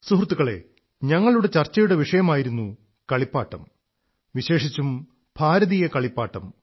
സുഹൃത്തുക്കളേ ഞങ്ങളുടെ ചർച്ചയുടെ വിഷയമായിരുന്നു കളിപ്പാട്ടം വിശേഷിച്ചും ഭാരതീയ കളിപ്പാട്ടം